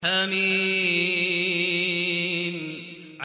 حم